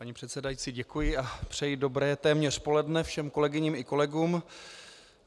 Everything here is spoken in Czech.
Paní předsedající děkuji a přeji dobré téměř poledne všem kolegyním i kolegům.